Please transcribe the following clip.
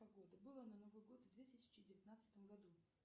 погода была на новый год в две тысячи девятнадцатом году